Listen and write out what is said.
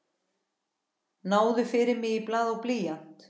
Náðu fyrir mig í blað og blýant.